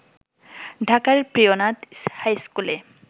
ঢাকার প্রিয়নাথ হাইস্কুলে